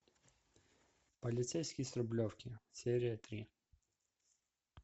полицейский с рублевки серия три